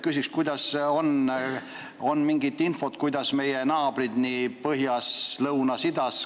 Küsin, kas on mingit infot meie naabrite kohta põhjas, lõunas ja idas.